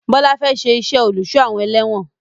Bọlá fẹ́ ṣe iṣẹ́ olùsọ-awon-ẹlẹ̀wọn